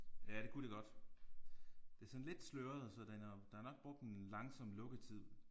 Ja det kunne det godt. Det er sådan lidt sløret så den er der er nok brugt en langsom lukketid